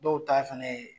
Dɔw ta fɛnɛ ye